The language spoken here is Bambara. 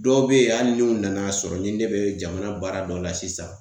Dɔw be yen, hali n'u nana sɔrɔ ni ne be jamana baara dɔ la sisan